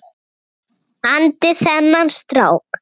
andi þennan strák.